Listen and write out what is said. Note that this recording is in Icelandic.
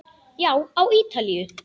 Já, á Ítalíu.